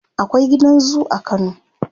akwai gidan zoo a kano